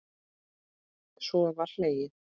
Svo var hlegið.